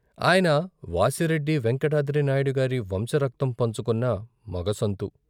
ఆయన వాసిరెడ్డి వేంకటాద్రినాయుడిగారి వంశ రక్తం పంచుకున్న మగ సంతు.